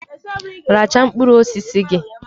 Richaa mkpụrụ osisi gị!